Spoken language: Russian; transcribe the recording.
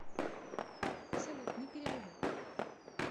салют не переживай